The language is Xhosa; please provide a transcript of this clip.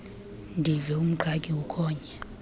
ndive umqhagi ukhonya